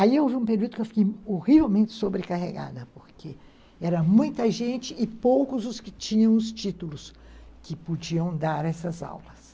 Aí houve um período que eu fiquei horrivelmente sobrecarregada, porque era muita gente e poucos os que tinham os títulos que podiam dar essas aulas.